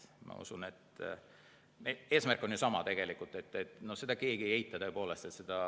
Ma usun, et meie eesmärk on ju sama, seda keegi ei eita.